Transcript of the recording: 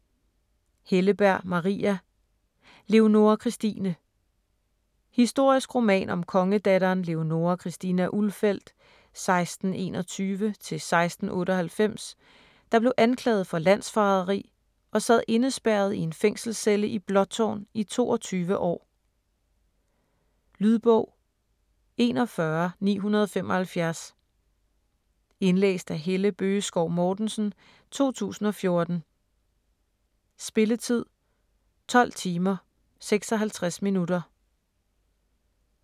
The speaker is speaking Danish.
Helleberg, Maria: Leonora Christine Historisk roman om kongedatteren Leonora Christina Ulfeldt (1621-1698), der blev anklaget for landsforræderi og sad indespærret i en fængselscelle i Blåtårn i 22 år. Lydbog 41975 Indlæst af Helle Bøgeskov Mortensen, 2014. Spilletid: 12 timer, 56 minutter.